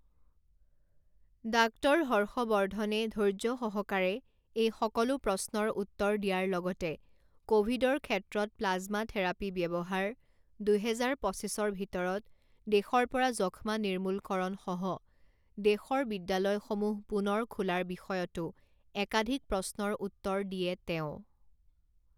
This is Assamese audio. ডাক্টৰ হৰ্ষ বৰ্ধনে ধৈৰ্যসহকাৰে এই সকলো প্ৰশ্নৰ উত্তৰ দিয়াৰ লগতে কভিডৰ ক্ষেত্ৰত প্লাজমা থেৰাপি ব্যবহাৰ, দুহেজাৰ পঁচিছৰ ভিতৰত দেশৰ পৰা যক্ষ্মা নিৰ্মূলকৰণ সহ দেশৰ বিদ্যালয়সমূহ পুনৰ খোলাৰ বিষয়তো একাধিক প্ৰশ্নৰ উত্তৰ দিয়ে তেওঁ।